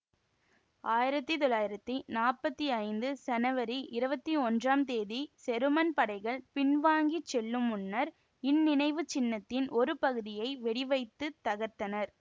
ஆயிரத்தி தொள்ளாயிரத்தி நாற்பத்தி ஐந்து சனவரி இருபத்தி ஒன்றாம் தேதி செருமன் படைகள் பின்வாங்கிச் செல்லுமுன்னர் இந்நினைவுச் சின்னத்தின் ஒரு பகுதியை வெடிவைத்துத் தகர்த்தனர்